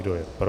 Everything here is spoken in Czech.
Kdo je pro?